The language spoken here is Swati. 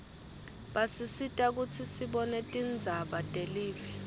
basisita kutsi sibone tindzaba telive